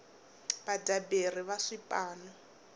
vadyaberi va swipano